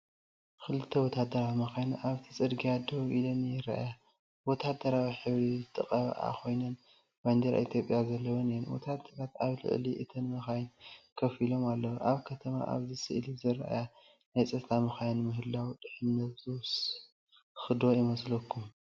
ክልተ ወተሃደራዊ መካይን ኣብቲ ጽርግያ ደው ኢለን ይርኣያ። ብወተሃደራዊ ሕብሪ ዝተቐብኣ ኮይነን ባንዴራ ኢትዮጵያ ዘለወን እየን። ወተሃደራት ኣብ ልዕሊ እተን መካይን ኮፍ አሊም ኣለው። ኣብ ከተማ ኣብዚ ስእሊ ዝተርኣያ ናይ ጸጥታ መካይን ምህላወን ድሕንነት ዝውስኽ ዶ ይመስለኩም?